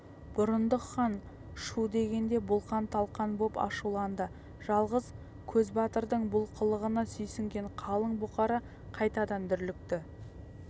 бұрындық хан шу дегенде бұлқан-талқан боп ашуланды жалғыз көзбатырдың бұл қылығына сүйсінген қалың бұқара қайтадан дүрлікті